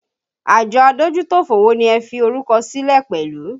Àjọ adójútòfò wo ni ẹ fi orúkọ sílẹ̀ pẹ̀lú?